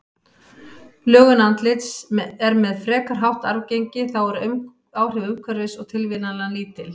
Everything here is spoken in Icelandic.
Lögun andlits er með frekar hátt arfgengi, þá eru áhrif umhverfis og tilviljana lítil.